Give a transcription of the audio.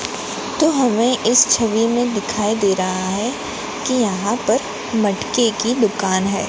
तो हमें इस छवि में दिखाई दे रहा हैं कि यहाँ पर मटके की दुकान है।